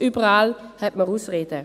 Überall hat man Ausreden.